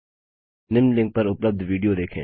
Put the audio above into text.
निम्न लिंक पर उपलब्ध विडियो देखें